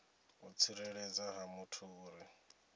u tsireledzea ha muthu uri